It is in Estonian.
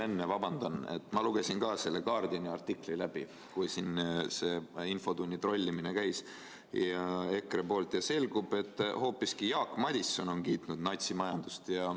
Ma vabandan, aga ma lugesin ka selle The Guardiani artikli läbi, kui EKRE siin infotundi trollis, ja selgub, et hoopis Jaak Madison on kiitnud natsimajandust.